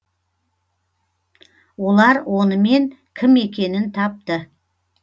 олар онымен кім екенін тапты